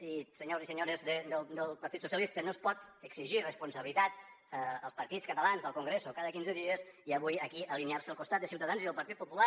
i senyors i senyores del partit socialistes no es pot exigir responsabilitat als partits catalans del congreso cada quinze dies i avui aquí alinear se al costat de ciutadans i el partit popular